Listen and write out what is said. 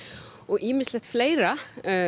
og ýmislegt fleira